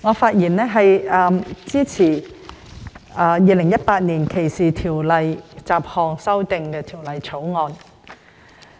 主席，我發言支持《2018年歧視法例條例草案》。